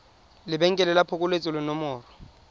lebenkele la phokoletso le nomoro